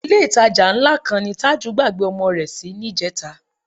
Ilé-ìtajà ńlá kan ni Tájù gbàgbé ọmọ rẹ sí níjẹta